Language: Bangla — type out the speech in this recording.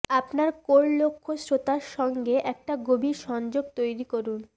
আপনার কোর লক্ষ্য শ্রোতা সঙ্গে একটি গভীর সংযোগ তৈরি করুন